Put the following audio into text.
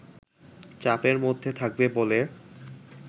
চাপের মধ্যে থাকবে বলে